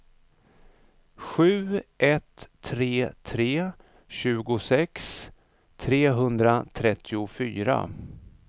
sju ett tre tre tjugosex trehundratrettiofyra